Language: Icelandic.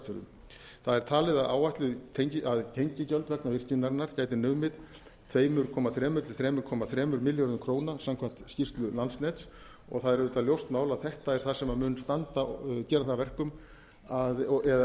vestfjörðum það er talið að tengigjöld vegna virkjunarinnar gætu numið tvö komma þrjú til þrjú komma þremur milljörðum króna samkvæmt skýrslu landsnets og það er auðvitað ljóst mál að þetta er það sem mun gera það að verkum eða í raun og